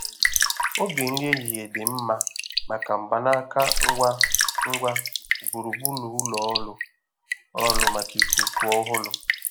Oge nri ehihie dị mma maka mgbanaka ngwa ngwa gburugburu ụlọ ọrụ ọrụ maka ikuku ọhụrụ.